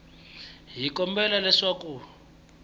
n wi kombela leswaku a